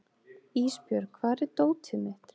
Ísbjörg, hvar er dótið mitt?